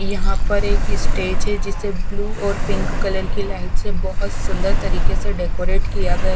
यहा पर एक स्टेज है जिसे ब्लू और पिंक कलर की लाइट से बहोत सुंदर तरीके से डेकोरेट किया गया--